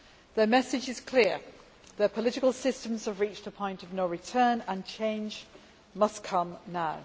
Their message is clear their political systems have reached a point of no return, and change must come now.